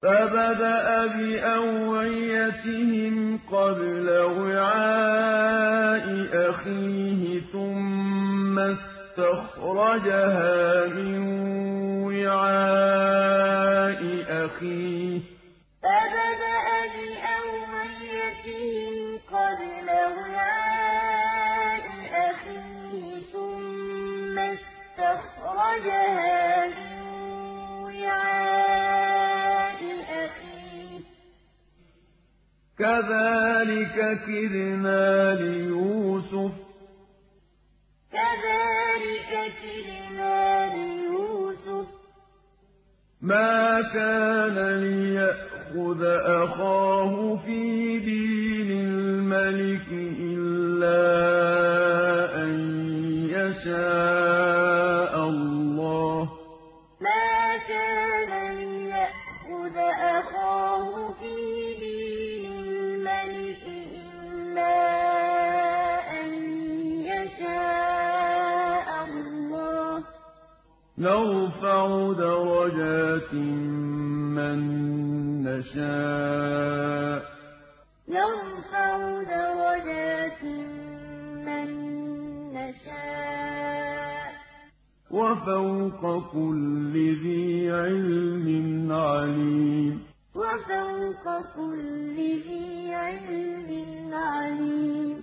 فَبَدَأَ بِأَوْعِيَتِهِمْ قَبْلَ وِعَاءِ أَخِيهِ ثُمَّ اسْتَخْرَجَهَا مِن وِعَاءِ أَخِيهِ ۚ كَذَٰلِكَ كِدْنَا لِيُوسُفَ ۖ مَا كَانَ لِيَأْخُذَ أَخَاهُ فِي دِينِ الْمَلِكِ إِلَّا أَن يَشَاءَ اللَّهُ ۚ نَرْفَعُ دَرَجَاتٍ مَّن نَّشَاءُ ۗ وَفَوْقَ كُلِّ ذِي عِلْمٍ عَلِيمٌ فَبَدَأَ بِأَوْعِيَتِهِمْ قَبْلَ وِعَاءِ أَخِيهِ ثُمَّ اسْتَخْرَجَهَا مِن وِعَاءِ أَخِيهِ ۚ كَذَٰلِكَ كِدْنَا لِيُوسُفَ ۖ مَا كَانَ لِيَأْخُذَ أَخَاهُ فِي دِينِ الْمَلِكِ إِلَّا أَن يَشَاءَ اللَّهُ ۚ نَرْفَعُ دَرَجَاتٍ مَّن نَّشَاءُ ۗ وَفَوْقَ كُلِّ ذِي عِلْمٍ عَلِيمٌ